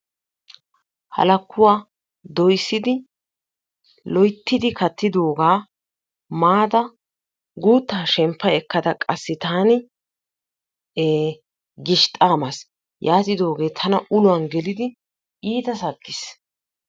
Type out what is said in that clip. Halakkuwaa doyssidi lo'oyttidi kattidogaa mada gutta shempa ekkada taani taani gishxxa maasi yatidoge tana uluwan gelidi ittaa sakkis.